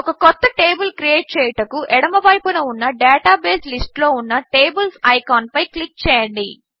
ఒక కొత్త table create చేయుటకు ఎడమవైపున ఉన్న డేటాబేస్ లిస్ట్లో ఉన్న టేబిల్స్ ఐకాన్పై క్లిక్ చేయండి